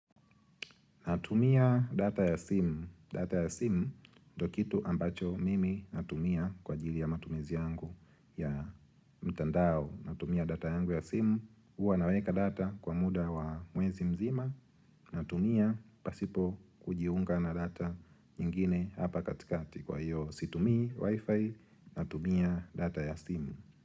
Natumia data ya simu. Data ya simu ndio kitu ambacho mimi natumia kwa ajili ya matumizi yangu ya mtandao. Natumia data yangu ya simu. Huwa naweka data kwa muda wa mwezi mzima. Natumia pasipo kujiunga na data nyingine hapa katikati kwa hiyo situmii wifi. Natumia data ya simu.